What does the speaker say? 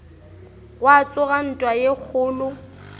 gwa tsoga ntwa ye kgolo